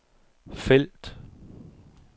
felt